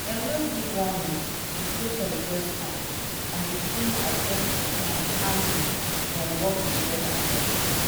dem no give warning the protest just start and the team adjust the plan calmly then work together well.